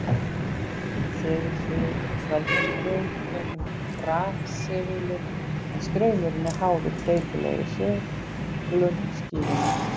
Segulsviðið veldur straum gegnum rafsegulinn en straumurinn er háður breytilegri seglun skífunnar.